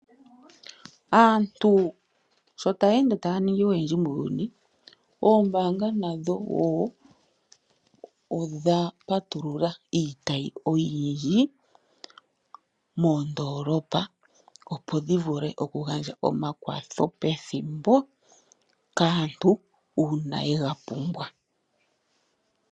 Aantu sho taya ende taya ningi oyendji muuyuni, ombaanga nadho wo odha patulula iitayi oyindji moondolopa, opo dhi vule okugandja omakwatho pethimbo kaantu uuna ye ga pumbwa.